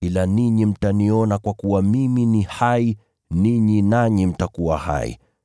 ila ninyi mtaniona, kwa kuwa mimi ni hai, ninyi nanyi mtakuwa hai.